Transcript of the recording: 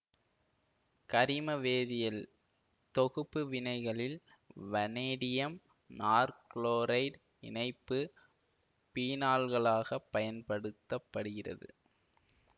கரிம வேதியல் தொகுப்பு வினைகளில் வனேடியம் நாற்குளோரைடு இணைப்பு பீனால்களாகப் பயன்படுத்த படுகிறது